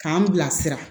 K'an bilasira